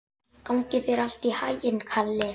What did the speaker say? Gangi þér allt í haginn, Kalli.